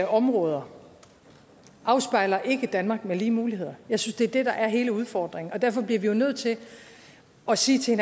områder afspejler ikke et danmark med lige muligheder jeg synes det er det der er hele udfordringen og derfor bliver vi jo nødt til at sige til